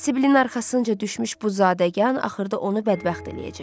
Sibilin arxasınca düşmüş bu zadəgan axırda onu bədbəxt eləyəcək.